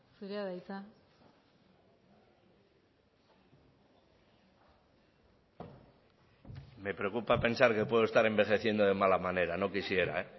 zurea da hitza me preocupa pensar que puedo estar envejeciendo de mala manera no quisiera